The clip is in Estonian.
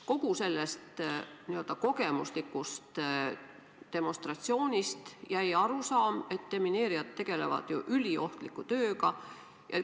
Kogu sellest n-ö kogemuslikust demonstratsioonist jäi arusaam, et demineerijad tegelevad üliohtliku tööga.